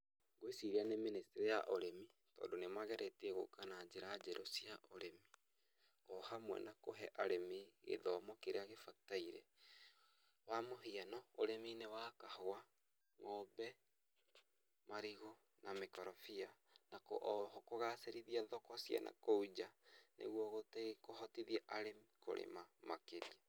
Gwĩciria nĩ ministry ya ũrĩmi tondũ nĩ mageretie gũka na njĩra njerũ cia ũrĩmi ohamwe na kũhe arĩmi gĩthomo kĩrĩa kĩbatairekwa mũhiano ũrĩminĩ wa kahũa ,ng'ombe, marigũ na mĩkondobia oho kũgacĩrithia thoko cia nakũu njaa nĩgũo kũhotithia arĩmi kũrĩma makĩria.